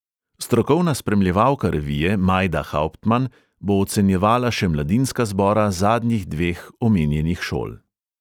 Strokovna spremljevalka revije majda hauptman bo ocenjevala še mladinska zbora zadnjih dveh omenjenih šol.